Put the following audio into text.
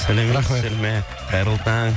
қайырлы таң